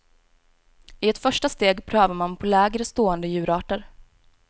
I ett första steg prövar man på lägre stående djurarter.